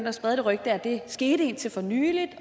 at sprede det rygte at det skete indtil for nylig